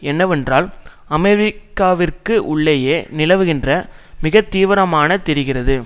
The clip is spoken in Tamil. என்னவென்றால் அமெரிக்காவிற்குள்ளேயே நிலவுகின்ற மிக தீவிரமான தெரிகிறது